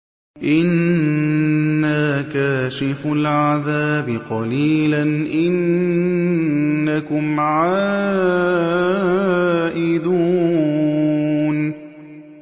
إِنَّا كَاشِفُو الْعَذَابِ قَلِيلًا ۚ إِنَّكُمْ عَائِدُونَ